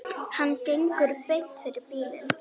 Hann gengur beint fyrir bílinn.